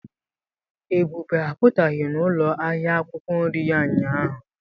Ebube apụtaghị n'ụlọ ahịa akwụkwọ nri ya ụnyahụ.